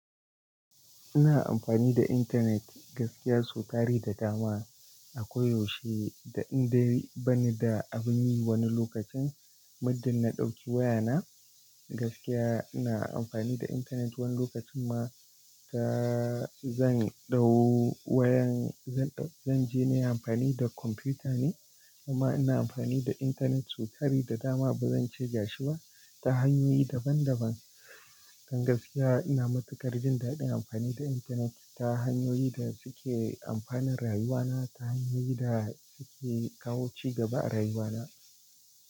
Ina amfani da intanet, gaskiya so tari da dama, ako yaushe da in dai bani da abin yi wani lokacin, muddin na ɗauki wayana, gaskiya ina amfani da intanet. Wani lokacin ma, ka, zan ɗau wayan zan, zan je nayi amfani da kwamfuta ne, amma ina amfani da intanet so tari da dama ba zan ce gashi ba, ta hanyoyi daban-daban. Dan gaskiya ina matukar jin daɗin amfani da intanet ta hanyoyi da suke amfanan rayuwana, ta hanyoyi da suke kawo cigaba a rayuwana.